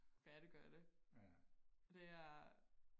færdiggøre det og det er